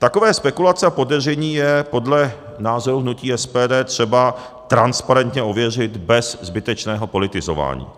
Takové spekulace a podezření je podle názoru hnutí SPD třeba transparentně ověřit bez zbytečného politizování.